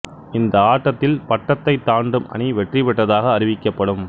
இந்த ஆட்டத்தில் பட்டத்தை தாண்டும் அணி வெற்றி பெற்றதாக அறிவிக்கப்படும்